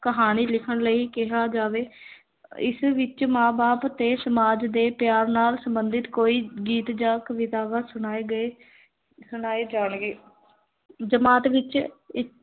ਕਹਾਣੀ ਲਿਖਣ ਲਈ ਕਿਹਾ ਜਾਵੇ ਇਸ ਵਿੱਚ ਮਾਂ-ਬਾਪ ਤੇ ਸਮਾਜ ਦੇ ਪਿਆਰ ਨਾਲ ਸੰਬੰਧਿਤ ਕੋਈ ਗੀਤ ਜਾਂ ਕਵਿਤਾਵਾਂ ਸੁਣਾਏ ਗਏ ਸੁਣਾਏ ਜਾਣਗੇ ਜਮਾਤ ਵਿੱਚ ਇ